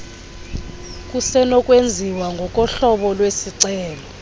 kusenokwenziwa ngokohlobo lwesicelo